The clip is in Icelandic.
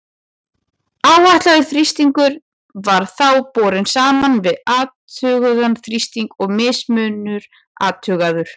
Áætlaður þrýstingur var þá borinn saman við athugaðan þrýsting og mismunur athugaður.